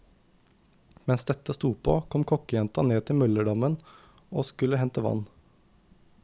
Mens dette sto på, kom kokkejenta ned til møllerdammen og skulle hente vann.